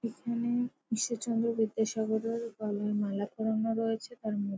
এখানে ঈশ্বরচন্দ্র বিদ্যাসাগরের গলায় মালা পড়ানো রয়েছে তার মু--